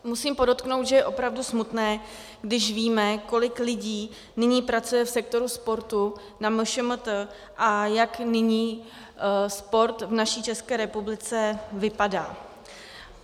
Musím podotknout, že je opravdu smutné, když víme, kolik lidí nyní pracuje v sektoru sportu na MŠMT a jak nyní sport v naší České republice vypadá.